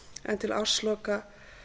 en til ársloka